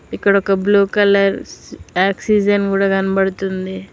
ఇక్కడ ఒక blue colour oxygen కూడా కనబడుతుంది.